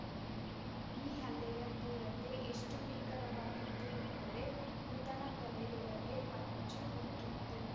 ಈ ಹಲ್ಲೆಯ ತೀವ್ರತೆ ಎಷ್ಟುಭೀಕರವಾಗಿತ್ತು ಎಂದರೆ ಮೃತನ ತಲೆಯೊಳಗೆ ಮಚ್ಚು ಹೊಕ್ಕಿತು